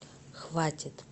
хватит